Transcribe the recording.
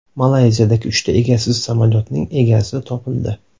Malayziyadagi uchta egasiz samolyotning egasi topildi.